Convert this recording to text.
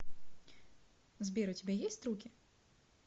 сбер у тебя есть руки